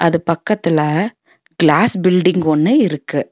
அது பக்கத்துல glass building ஒன்னு இருக்கு.